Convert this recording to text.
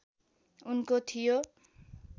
उनको थियो